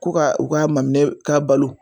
Ko ka u ka maminɛ ka balo.